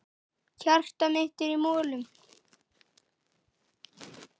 Hjartað mitt er í molum.